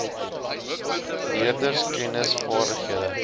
leerders kennis vaardighede